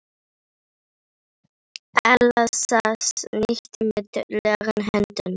Erla sat ekki auðum höndum.